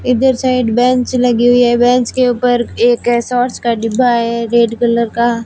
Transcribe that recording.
इधर side bench लगी हुई है बेंच के ऊपर एक सॉस का डिब्बा है रेड कलर का।